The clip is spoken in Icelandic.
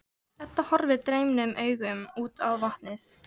Edda horfir dreymnum augum út á vatnið.